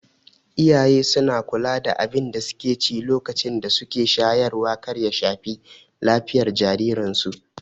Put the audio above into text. Iyaye suna kula da abinda suke ci lokacin da suke shayarwa kar ya shafi lafiyan jariran su